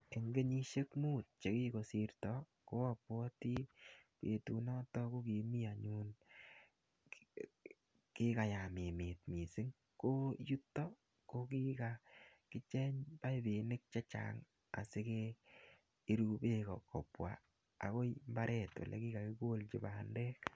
Eng kenyisiek mut che kokosirto ko abwoti betunono ko kimi anyun kikayam emet mising. Ko yuto kokikakicheng paipinik che chang asikepiru beek kobwa agoi mbaret ole kikakikolchi bandek.